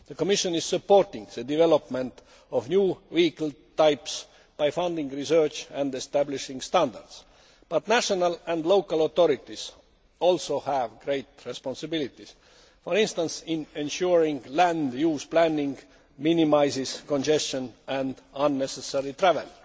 The Commission is supporting the development of new vehicle types by funding research and establishing standards. But national and local authorities also have great responsibilities, for instance, in ensuring that land use planning minimises congestion and unnecessary